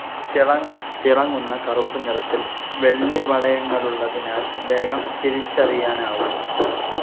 തിളങ്ങുന്ന കറൂപ്പുനിറത്തിൽ വെള്ളിവളയങ്ങളുള്ളതിനാൽ വേഗം തിരിച്ചറിയാനാകും.